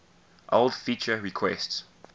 old feature requests